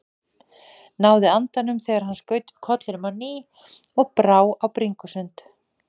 Náði andanum þegar hann skaut upp kollinum á ný og brá á bringusund.